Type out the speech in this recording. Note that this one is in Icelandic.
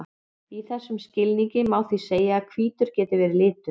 í þessum skilningi má því segja að hvítur geti verið litur